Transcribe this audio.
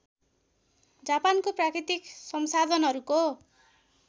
जापानको प्राकृतिक संसाधनहरूको